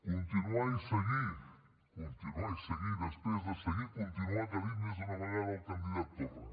continuar i seguir continuar i seguir després de seguir i continuar que ha dit més d’una vegada el candidat torra